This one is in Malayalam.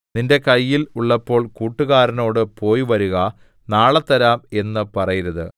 നിന്റെ കയ്യിൽ ഉള്ളപ്പോൾ കൂട്ടുകാരനോട് പോയിവരുക നാളെത്തരാം എന്ന് പറയരുത്